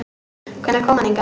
Hvenær kom hann hingað?